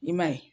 I ma ye